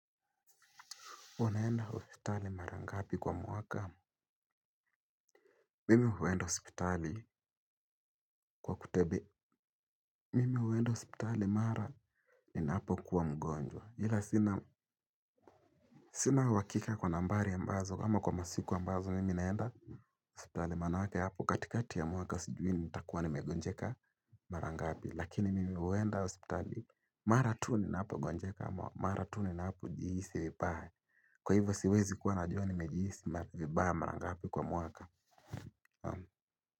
Unaenda hospitali mara ngapi kwa mwaka? Mimi huenda hospitali kwa, mimi huenda hospitali mara ninapokuwa mgonjwa. Ila sina uhakika kwa nambari ambazo, kama kwa masiku ambazo mimi naenda hospitali maanake hapo, katikati ya mwaka sijui nitakuwa nimegonjeka mara ngapi. Lakini mimi huenda hospitali mara tu ninapo gonjeka mara tu ninapo jihisi vibaya. Kwa hivyo siwezi kuwa najua nimejihisi vibaya mara ngapi kwa mwaka.